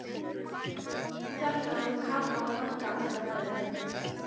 Eftir þetta fóru Kata og Magga alltaf með henni.